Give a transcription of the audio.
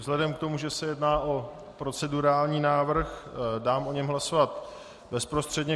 Vzhledem k tomu, že se jedná o procedurální návrh, dám o něm hlasovat bezprostředně.